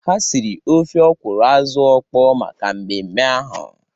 Ha siri ofe ọkwụrụ azụ ọkpọ maka mmemme ahụ.